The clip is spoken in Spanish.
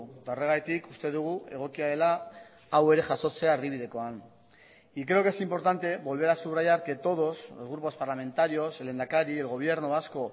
eta horregatik uste dugu egokia dela hau ere jasotzea erdibidekoan y creo que es importante volver a subrayar que todos los grupos parlamentarios el lehendakari el gobierno vasco